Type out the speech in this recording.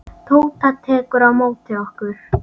Tóta tekur á móti okkur.